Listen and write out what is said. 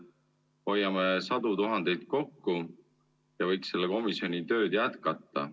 Hoiame sadu tuhandeid kokku ja võiks selle komisjoni tööd jätkata.